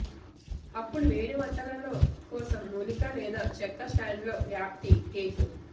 అప్పుడు వేడి వంటలలో కోసం మూలికా లేదా చెక్క స్టాండ్ లో వ్యాప్తి కేక్